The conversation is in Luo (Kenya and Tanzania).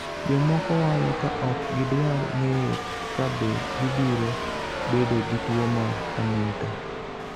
jomoko walo ka ok gidwar ng'eyo kabe gibiro bedo gi tuo mar hunington